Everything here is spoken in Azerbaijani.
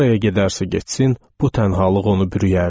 Haraya gedərsə getsin, bu tənhalıq onu bürüyərdi.